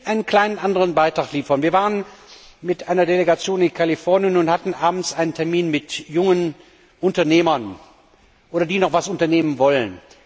Ich will einen anderen kleinen Beitrag liefern Wir waren mit einer Delegation in Kalifornien und hatten abends einen Termin mit jungen Unternehmern oder Menschen, die noch etwas unternehmen wollen.